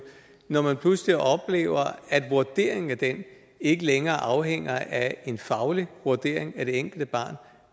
når man pludselig oplever at vurderingen af det ikke længere afhænger af en faglig vurdering af det enkelte barn